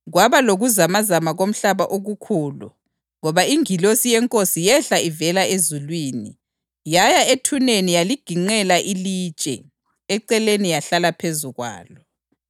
Kwaba lokuzamazama komhlaba okukhulu ngoba ingilosi yeNkosi yehla ivela ezulwini, yaya ethuneni yaligiqela ilitshe eceleni yahlala phezu kwalo.